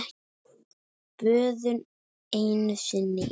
Böðun einu sinni í viku!